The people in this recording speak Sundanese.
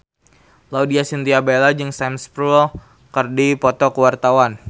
Laudya Chintya Bella jeung Sam Spruell keur dipoto ku wartawan